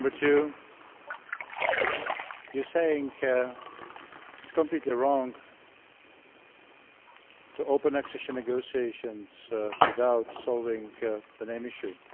Number two you are saying it is completely wrong to open accession negotiations without solving the name issue.